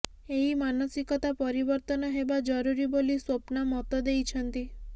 ଏହି ମାନସିକତା ପରିବର୍ତ୍ତନ ହେବା ଜରୁରୀ ବୋଲି ସ୍ବପ୍ନା ମତ ଦେଇଛନ୍ତି